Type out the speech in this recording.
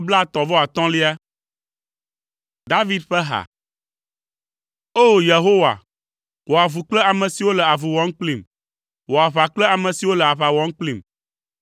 David ƒe ha. O! Yehowa, wɔ avu kple ame siwo le avu wɔm kplim; wɔ aʋa kple ame siwo le aʋa wɔm kplim.